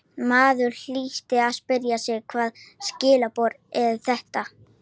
Og maður hlýtur að spyrja sig hvaða skilaboð eru þetta?